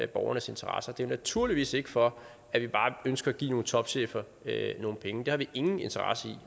borgernes interesser det er naturligvis ikke for at vi bare ønsker at give nogle topchefer nogle penge det har vi ingen interesse